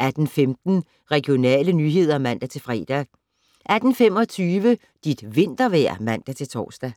18:15: Regionale nyheder (man-fre) 18:25: Dit vintervejr (man-tor)